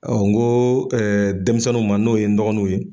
Ɔ n ko denmisɛninw ma n'o ye n dɔgɔninw ye.